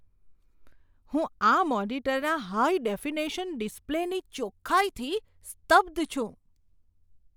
હું આ મોનિટરના હાઈ ડેફિનેશન ડિસ્પ્લેની ચોક્ખાઈથી સ્તબ્ધ છું.